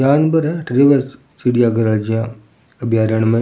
जानवर है अठ रव चिड़िया घर है अभ्यारन में --